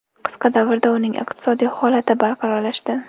Qisqa davrda uning iqtisodiy holati barqarorlashdi.